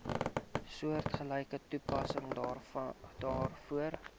soortgelyke toepassing daarvoor